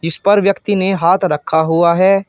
उस पर व्यक्ति ने हाथ रखा हुआ है।